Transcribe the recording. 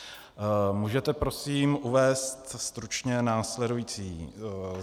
Můžete prosím uvést stručně následující?